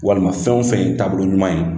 Walima fɛn o fɛn ye taabolo ɲuman ye.